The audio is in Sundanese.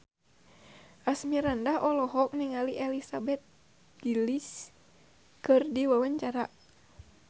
Asmirandah olohok ningali Elizabeth Gillies keur diwawancara